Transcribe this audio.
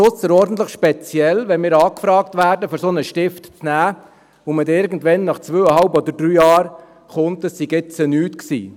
Es ist ausserordentlich speziell, wenn wir angefragt werden, einen solchen Lernenden zu nehmen, man aber dann nach zweieinhalb oder drei Jahren kommt und sagt, es sei jetzt nichts gewesen.